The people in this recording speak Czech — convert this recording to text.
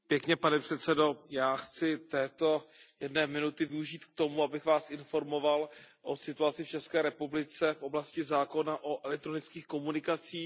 Pane předsedající, já chci této jedné minuty využít k tomu, abych vás informoval o situaci v České republice v oblasti zákona o elektronických komunikacích.